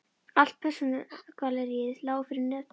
Allt persónugalleríið lá fyrir með nöfnunum